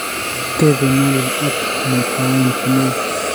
tebe nyaliil ak muitaen kemeut